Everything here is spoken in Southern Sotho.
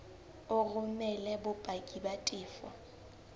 o romele bopaki ba tefo